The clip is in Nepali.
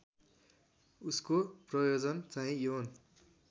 उसको प्रयोजनचाहिँ यौन